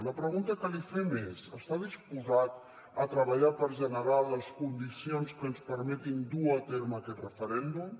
la pregunta que li fem és està disposat a treballar per generar les condicions que ens permetin dur a terme aquest referèndum